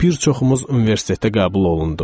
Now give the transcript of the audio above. Bir çoxumuz universitetə qəbul olunduq.